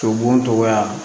To bonya